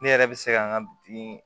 Ne yɛrɛ bɛ se ka n ka bitigi